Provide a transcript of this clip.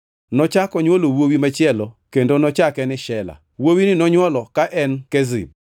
Nochako onywolo wuowi machielo kendo nochake ni Shela. Wuowini nonywolo ka en Kezib.